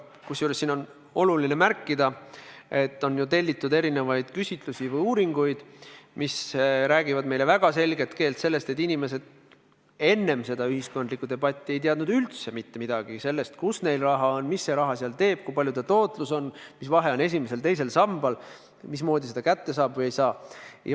Oluline on ka märkida, et on ju tellitud erinevaid küsitlusi ja muid uuringuid, mis räägivad meile väga selget keelt, et inimesed enne seda ühiskondlikku debatti ei teadnud üldse mitte midagi sellest, kus neil raha on, mis see raha seal teeb, kui suur on tootlus, mis vahe on esimesel ja teisel sambal, mismoodi seda raha kätte saab.